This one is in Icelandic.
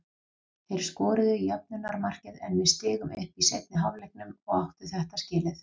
Þeir skoruðu jöfnunarmarkið en við stigum upp í seinni hálfleiknum og áttu þetta skilið.